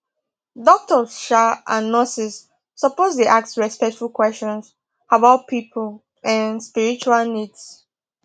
doctors um and nurses suppose dey ask respectful questions about people um spiritual needs